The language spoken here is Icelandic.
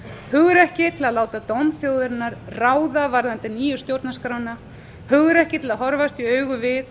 hugrekki til að láta dóm þjóðarinnar ráða varðandi nýja stjórnarskrána hugrekki til að horfast í augu við